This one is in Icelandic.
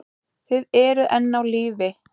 Þið eruð enn á lífi!